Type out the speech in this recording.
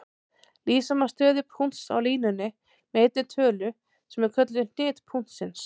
Lýsa má stöðu punkts á línunni með einni tölu sem er kölluð hnit punktsins.